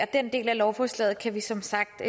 den del af lovforslaget kan vi som sagt